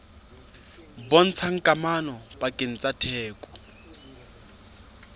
bontshang kamano pakeng tsa theko